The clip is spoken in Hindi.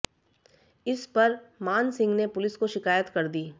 इस पर मान सिंह ने पुलिस को शिकायत कर दी